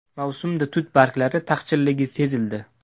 Mavsumda tut barglari taqchilligi sezildi.